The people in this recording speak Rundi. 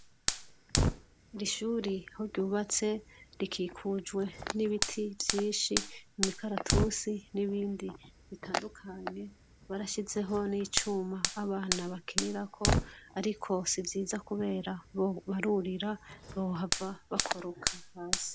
Ishuri aho ryubatse rikikujwe n'ibiti vyishi imikaratusi n'ibindi bitandukanye barashizeho n'icuma abana bakinirako ariko sivyiza kubera barurira bohava bakoroka hasi.